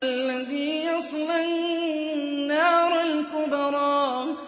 الَّذِي يَصْلَى النَّارَ الْكُبْرَىٰ